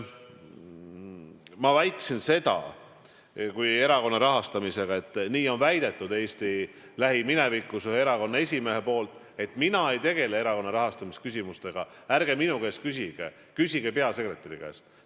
Ma väitsin seda erakonna rahastamise kohta, et nii on väidetud Eesti lähiminevikus või erakonna esimees on nii öelnud, et mina ei tegele erakonna rahastamise küsimustega, ärge minu käest küsige, küsige peasekretäri käest.